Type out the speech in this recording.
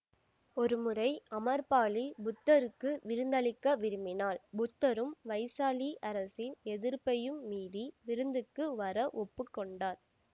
ஒருமுறை அமர்பாலி புத்தருக்கு விருந்தளிக்க விரும்பினாள் புத்தரும் வைசாலி அரசின் எதிர்ப்பையும் மீறி விருந்துக்கு வர ஒப்பு கொண்டார்